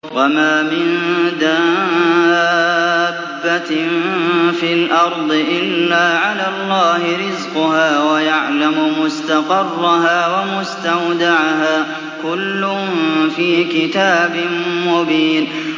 ۞ وَمَا مِن دَابَّةٍ فِي الْأَرْضِ إِلَّا عَلَى اللَّهِ رِزْقُهَا وَيَعْلَمُ مُسْتَقَرَّهَا وَمُسْتَوْدَعَهَا ۚ كُلٌّ فِي كِتَابٍ مُّبِينٍ